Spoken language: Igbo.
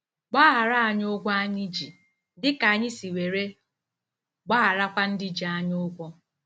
" Gbaghara anyị ụgwọ anyị ji, dị ka anyị si were gbagharakwa ndị ji anyị ụgwọ ."